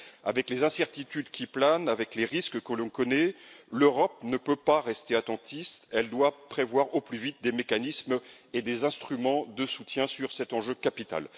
Avec les incertitudes qui planent, avec les risques que l'on connaît, l'Europe ne peut pas rester attentiste, elle doit prévoir au plus vite des mécanismes et des instruments de soutien sur cet enjeu capital.